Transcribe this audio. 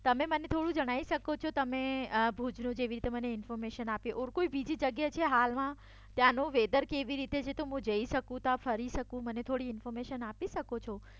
તમે મને થોડું જણાવી સકો છો તમે મને ભુજનું જેવી રીતે ઇન્ફોર્મેશન આપ્યું ઓર કોઈ બીજી જગ્યા છે હાલમાં ત્યાંનું વેધર કેવી રીતે છે હું જઈ શકું ત્યાં ફરી સકું મને થોડી ઇન્ફોર્મેશન આપી સકો છો.